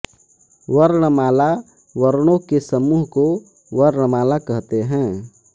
वर्णमाला वर्णों के समूह को वर्णमाला कहते हैं